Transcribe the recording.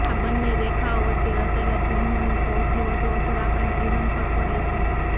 આ બંને રેખાઓ વચ્ચે રચાયેલા ચિહ્નોની સૌથી વધુ અસર આપણા જીવન પર પડે છે